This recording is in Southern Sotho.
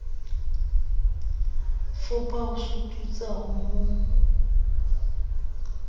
fopha ho sututsa ho mo